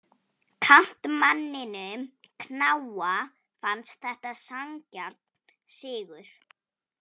Kantmanninum knáa fannst þetta sanngjarn sigur.